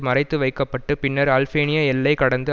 மறைத்து வைக்க பட்டு பின்னர் அல்பேனிய எல்லை கடந்து